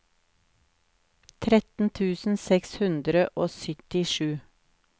tretten tusen seks hundre og syttisju